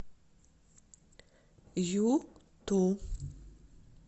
юту